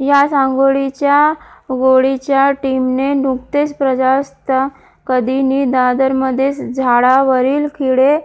याच अंघोळीच्या गोळीच्या टीमने नुकतेच प्रजासत्ताकदिनी दादरमध्ये झाडांवरील खिळे